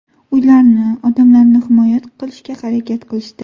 Uylarni, odamlarni himoya qilishga harakat qilishdi.